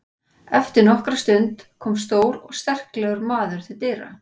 Eftir nokkra stund kom stór og sterklegur maður til dyra.